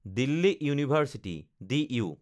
Delhi university (D U)